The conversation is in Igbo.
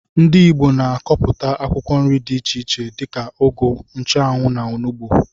Ndị ìgbo na akọpụta akwụkwọ nri dị iche iche dika ụgụ, nchuanwu, na ọnụgbu.